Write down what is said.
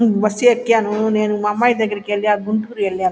నేను బస్సు ఎక్కాను మా అమ్మాయి దగ్గరికి వెళ్లి గుంటూరు వెళ్లాను.